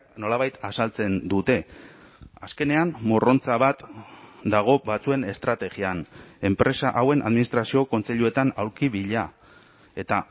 nolabait azaltzen dute azkenean morrontza bat dago batzuen estrategian enpresa hauen administrazio kontseiluetan aulki bila eta